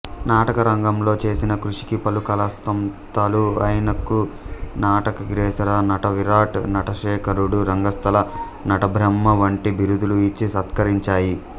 నాటకరంగంలో చేసిన కృషికి పలు కళాసంస్థలు ఈయనకు నటకాగ్రేసర నటవిరాట్ నటశేఖరుడు రంగస్థల నటబ్రహ్మ వంటి బిరుదులు ఇచ్చి సత్కరించాయి